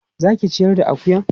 Za ka ciyar da akuyan?